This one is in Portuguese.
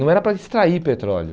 Não era para extrair petróleo.